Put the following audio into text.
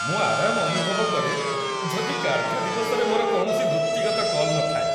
ମୁଁ ଆରାମ ଅନୁଭବ କରେ ଯଦି କାର୍ଯ୍ୟ ଦିବସରେ ମୋର କୌଣସି ବୃତ୍ତିଗତ କଲ୍ ନଥାଏ।